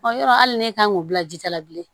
yɔrɔ hali n'e kan k'o bila ji ta la bilen